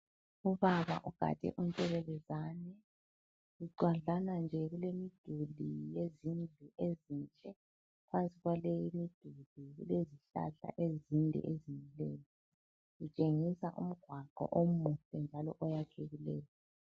Ubaba ugade untshelelezane, bucwadlana nje kulemiduli yezindlu ezinhle. Phansi kwaleyi miduli kulezihlahla ezinde ezimileyo, kutshengisa umgwaqo umuhle njalo oyakhekileyo.